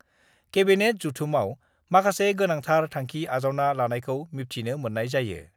Cabinet जथुमयाव माखासे हारियारि फोरमान बिलाइ गोनांथार थांखि आजावना लानायखौ मिब्थिनो मोन्नाय जायो।